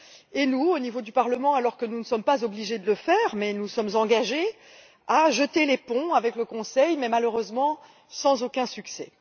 et nous, au niveau du Parlement, alors que nous ne sommes pas obligés de le faire mais nous nous y sommes engagés nous jetons des ponts vers le Conseil, malheureusement sans aucun succès.